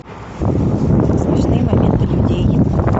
смешные моменты людей